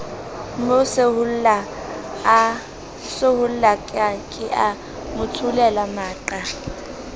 mo sehollake a motsholele maqa